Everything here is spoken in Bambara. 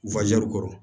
kɔrɔ